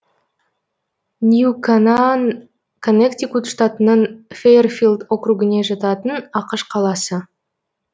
нью канаан коннектикут штатының фэйрфилд округіне жататын ақш қаласы